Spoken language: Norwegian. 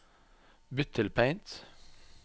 Bytt til Paint